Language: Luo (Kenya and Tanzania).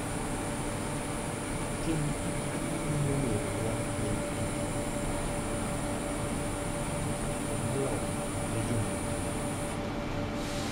Timo kamano miyo yorewa bedo kama okue, to moloyo ne joma mine.